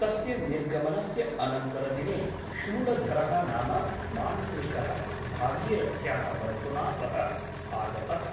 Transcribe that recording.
तस्य निर्गमनस्य अनन्तरदिने शूलधरः नाम मान्त्रिक भागीरथ्याः बन्धुना सह आगतः ।